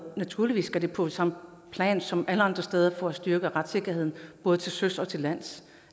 naturligvis skal på samme plan som alle andre steder for at styrke retssikkerheden både til søs og til lands